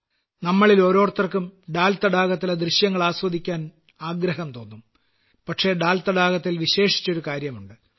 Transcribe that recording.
നമ്മളിലോരോരുത്തരും ദാൽ തടാകത്തിലെ ദൃശ്യങ്ങൾ ആസ്വദിക്കാൻ ആഗ്രഹിക്കും പക്ഷേ ദാൽ തടാകത്തിൽ വിശേഷിച്ചൊരു കാര്യമുണ്ട്